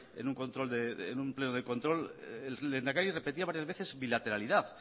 en un pleno de control el lehendakari repetía varias veces bilateralidad